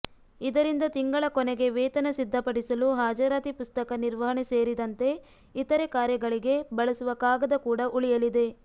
ಇದರಿಂದ ತಿಂಗಳ ಕೊನೆಗೆ ವೇತನ ಸಿದ್ಧಪಡಿಸಲು ಹಾಜರಾತಿ ಪುಸ್ತಕ ನಿರ್ವಹಣೆ ಸೇರಿದಂತೆ ಇತರೆ ಕಾರ್ಯಗಳಿಗೆ ಬಳಸುವ ಕಾಗದ ಕೂಡ ಉಳಿಯಲಿದೆ